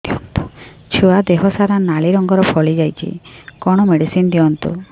ଛୁଆ ଦେହ ସାରା ନାଲି ରଙ୍ଗର ଫଳି ଯାଇଛି କଣ ମେଡିସିନ ଦିଅନ୍ତୁ